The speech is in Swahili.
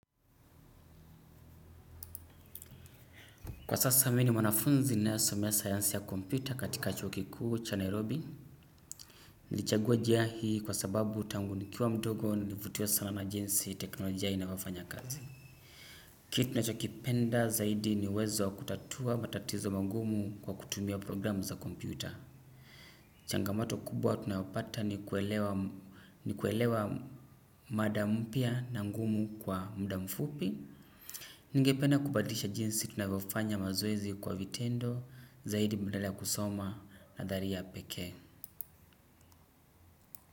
Kwa sasa mimi ni mwanafunzi ninayosomea sayansi ya kompyuta katika chuo ki kuu cha Nairobi, nilichagua jia hii kwa sababu tangu nikiwa mdogo, nilivutiwa sana na jinsi, teknolojia inavyofanya kazi. Kit nachoki penda zaidi, ni uwezo wa kutatua matatizo mangumu kwa kutumia programu za Kompyuta. Changamoto kubwa tunayopata ni kuelewa mada mpya na ngumu kwa muda mfupi, ningependa kubadlisha jinsi tunavyofanya mazoezi kwa vitendo zaidi, badala ya kusoma nadhari ya pekee.